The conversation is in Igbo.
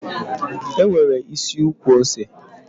E nwere isi ukwu ose.